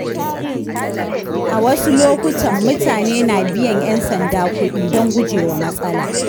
A wasu lokutan mutane na biyan ƴan sanda kuɗi don gujewa matsala.